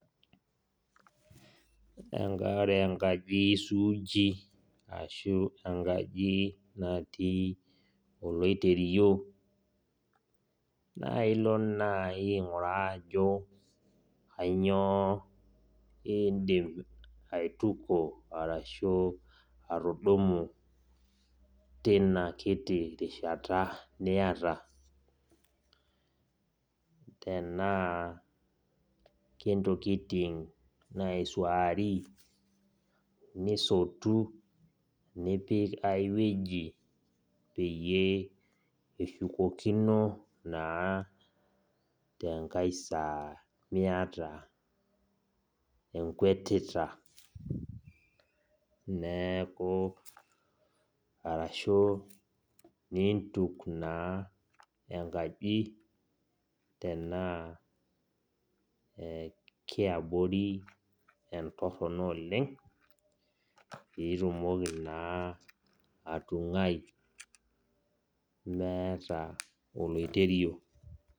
Enkare enkaji suuji, ashu enkaji natii oloiterio, nailo naji aing'uraa ajo kanyioo idim aituko arashu atudumu tina kiti rishata niyata. Tenaa ke ntokiting naisuaari, nisotu, nipik ai wueji peyie ishukokino naa tenkae saa miata enkuetita. Neeku, arashu niintuk naa enkaji tenaa kiabori entorrono oleng, pitumoki naa atung'ai meeta oloiterio.